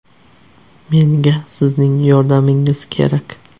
Menga sizning yordamingiz kerak.